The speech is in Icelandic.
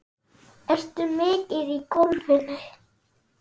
Ertu mikið í golfinu?